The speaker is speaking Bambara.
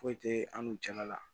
Foyi tɛ an n'u cɛla la